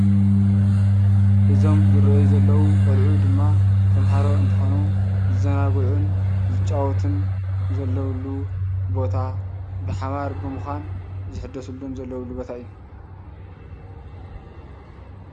እዞም ዝረአዩ ዘለው ቆልዑ ድማ ተማሃሮ እንትኾኑ ዝዘናግዑን ዝጫወቱን ዘለውሉ ቦታ ብሓባር ብምዃን ዝሕደሰሉን ዘለውሉ ቦታ እዩ።